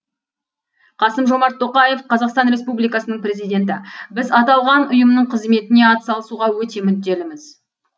қасым жомарт тоқаев қазақстан республикасының президенті біз аталған ұйымның қызметіне атсалысуға өте мүдделіміз